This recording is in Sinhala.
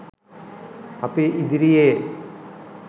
අපි ඉදිරියේ